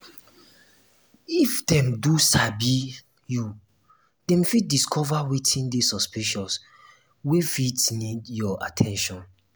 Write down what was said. if dem don sabi you dem fit discover wetin de suspicious wey fit need your at ten tion